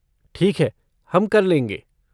ठीक है, हम कर लेंगे।